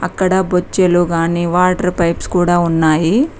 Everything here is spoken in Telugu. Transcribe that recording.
ఇక్కడ బొచ్చెలో కానీ వాటర్ పైప్స్ కూడా ఉన్నాయి.